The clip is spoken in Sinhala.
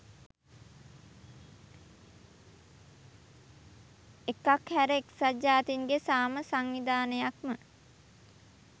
එකක් හැර එක්සත් ජාතීන්ගේ සාම සංවිධානයක්ම